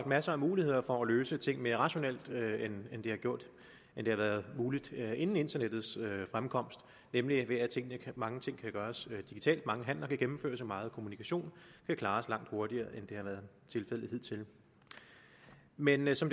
masser af muligheder for at løse ting mere rationelt end det har været muligt inden internettets fremkomst nemlig ved at mange ting kan gøres digitalt mange handler kan gennemføres og meget kommunikation kan klares langt hurtigere end det har været tilfældet hidtil men men som